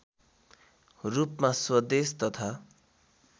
रूपमा स्वदेश तथा